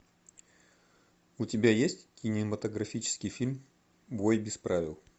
у тебя есть кинематографический фильм бой без правил